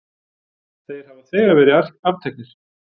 Þeir hafa þegar verið afteknir.